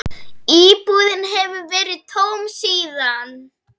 Íbúðin hefur verið tóm síðan.